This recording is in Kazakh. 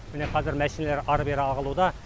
міне қазір мәшинелер әрі бері ағылуда